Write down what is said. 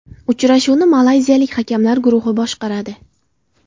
Uchrashuvni malayziyalik hakamlar guruhi boshqaradi .